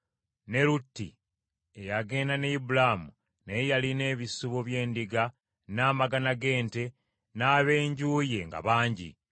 Ne Lutti eyagenda ne Ibulaamu naye yalina ebisibo by’endiga n’amagana g’ente n’ab’enju ye nga bangi,